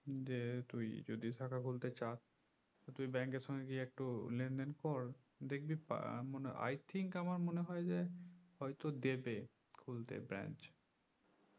দিয়ে তুই যদি শাখা খুলতে চাস তুই bank এর সাথে গিয়ে একটু লেনদেন কর দেখবি পা মনে i think আমার মনে হয় যে হয়তো দেবে খুলতে branch